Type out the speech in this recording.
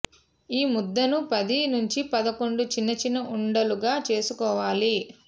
ఈ ముద్దను పది నుంచి పదకొండు చిన్న చిన్న ఉండలుగా చేసుకోవాలి